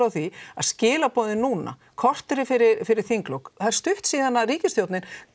því að skilaboðin núna korteri fyrir fyrir þinglok það er stutt síðan ríkisstjórnin